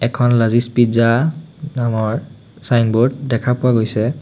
এখন লাজিজ পিজ্জা নামৰ চাইনবোৰ্ড দেখা পোৱা গৈছে।